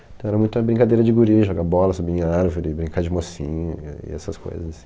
Então era muita brincadeira de guri, jogar bola, subir em árvore, brincar de mocinha e essas coisas.